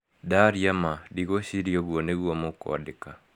Ndaria ma, ndigwĩciria ũguo nĩguo mũkũandĩka.